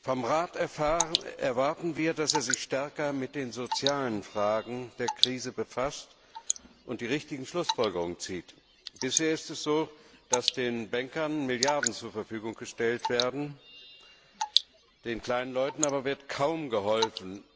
Vom Rat erwarten wir, dass er sich stärker mit den sozialen Fragen der Krise befasst und die richtigen Schlussfolgerungen zieht. Bisher ist es so, dass den Bankern Milliarden zur Verfügung gestellt werden, den kleinen Leuten aber wird kaum geholfen.